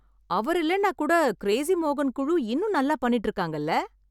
அவர் இல்லைனா கூட கிரேசி மோகன் குழு இன்னும் நல்லா பண்ணிட்டு இருக்காங்கல்ல.